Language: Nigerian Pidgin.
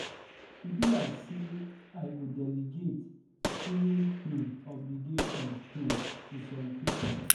E be like say I go delegate filling um obligation um to some people